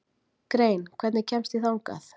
Grein, hvernig kemst ég þangað?